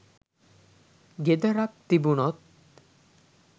ගෙදරක් තිබුණොත්